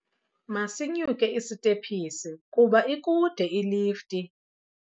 Masinyuke isitephisi kuba ikude ilifti.